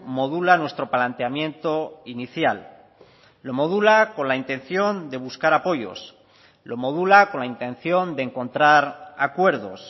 modula nuestro planteamiento inicial lo modula con la intención de buscar apoyos lo modula con la intención de encontrar acuerdos